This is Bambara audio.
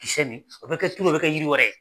nin o bɛ kɛ turu o bɛ kɛ yiri wɛrɛ